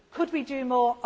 what we do. Could